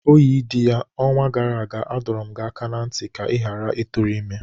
Oyidiya, onwa gara aga, adọrum gi aka na nti ka i ghara ị tụrụ ime!